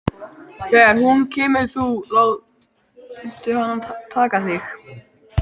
Þegar hún kemur þá láttu hana taka þig.